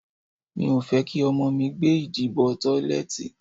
Mi ò fẹ́ kí ọmọ mi gbé ìdí bọ tọ́lẹ̀tì.